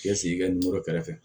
K'i sigi i ka nɛrɛ kɛrɛfɛ